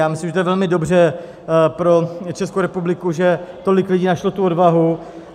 Já myslím, že to je velmi dobře pro Českou republiku, že tolik lidí našlo tu odvahu.